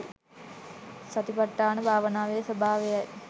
සතිපට්ඨාන භාවනාවේ ස්වභාවයයි.